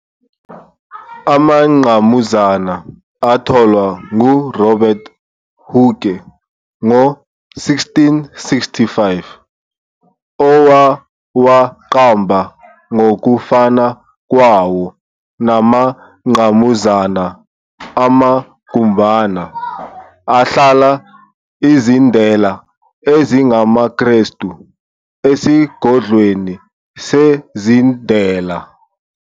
Amangqamuzana atholwa nguRobert Hooke ngo-1665, owawaqamba ngokufana kwawo namangqamuzana, amagumbana, ahlala izindela ezingamaKrestu esigodlweni sezindela.